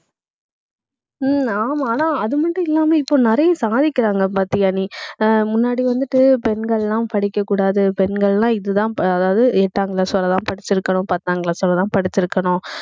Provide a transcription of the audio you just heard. உம் ஆமா ஆனா, அது மட்டும் இல்லாம இப்போ நிறைய சாதிக்கிறாங்க பாத்தியா நீ ஆஹ் முன்னாடி வந்துட்டு பெண்கள் எல்லாம் படிக்கக்கூடாது. பெண்கள்லாம், இதுதான் ப~ அதாவது எட்டாங் class வரைதான் படிச்சிருக்கணும். பத்தாம் class வரைதான் படிச்சிருக்கணும்